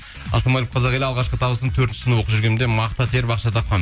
ассалаумағалейкум қазақ елі алғашқы табысым төртінші сынып оқып жүргенімде мақта теріп ақша тапқанмын